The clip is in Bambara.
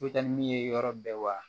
I bɛ taa ni min ye yɔrɔ bɛɛ wa